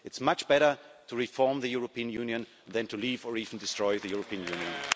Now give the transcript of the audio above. It's much better to reform the European Union than to leave or even destroy the European Union.